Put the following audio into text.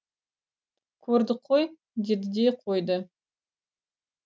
көрдік қой деді де қойды